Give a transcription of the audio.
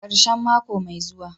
karshen mako mai zuwa.